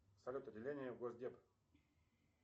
салют отделение госдеп